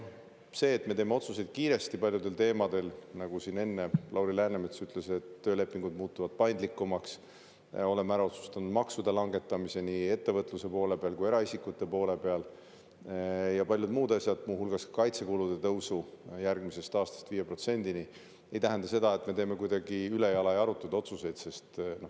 See, et me teeme otsuseid kiiresti ja paljudel teemadel – nagu Lauri Läänemets siin enne ütles, töölepingud muutuvad paindlikumaks, oleme ära otsustanud maksude langetamise nii ettevõtluse poole peal kui eraisikute poole peal ja paljud muud asjad, muu hulgas kaitsekulude tõusu järgmisest aastast 5% –, ei tähenda seda, et me teeme midagi kuidagi ülejala ja arutuid otsuseid.